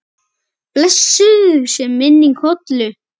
Blessuð sé minning Hollu.